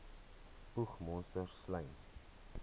spoeg monsters slym